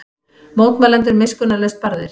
Mótmælendur miskunnarlaust barðir